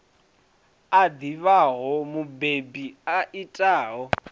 a ḓivhaho mubebi a itaho